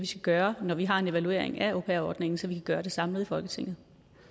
skal gøre når vi har en evaluering af au pair ordningen så vi kan gøre det samlet i folketinget